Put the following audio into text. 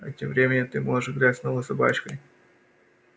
а тем временем ты можешь играть с новой собачкой